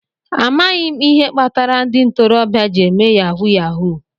Amaghị m ihe kpatara ndị ntorobịa jị eme Yahuu yahuu